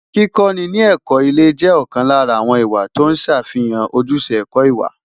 Kíkọ́ni ní ẹ̀kọ́ ilé jẹ́ ọ̀kan lára àwọn ìwà tó ń ṣàfihàn ojúṣe ẹ̀kọ́ ìwà.